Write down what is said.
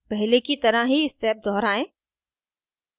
पहले की तरह ही step दोहराएं